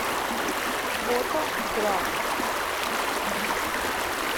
фото грасс